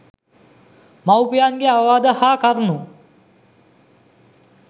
මව්පියන්ගේ අවවාද හා කරුණු